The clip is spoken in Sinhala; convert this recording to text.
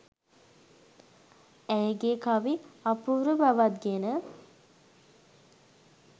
ඇයගේ කවි අපූර්ව බවක් ගෙන